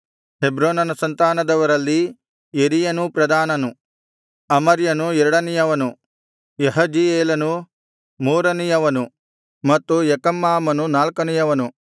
ಹೆಬ್ರೋನನ ಸಂತಾನದವರಲ್ಲಿ ಯೆರೀಯನು ಪ್ರಧಾನನು ಅಮರ್ಯನು ಎರಡನೆಯವನು ಯಹಜೀಯೇಲನು ಮೂರನೆಯವನು ಮತ್ತು ಯೆಕಮ್ಮಾಮನು ನಾಲ್ಕನೆಯವನು